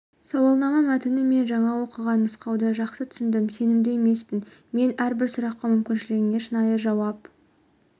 сауалнама мәтіні мен жаңа оқыған нұсқауды жақсы түсіндім сенімді емеспін мен әрбір сұраққа мүмкіншілігінше шынайы жауап